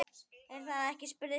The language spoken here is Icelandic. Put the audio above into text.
Er það ekki? spurði Stína.